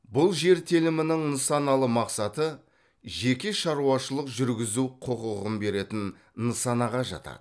бұл жер телімінің нысаналы мақсаты жеке шаруашылық жүргізу құқығын беретін нысанаға жатады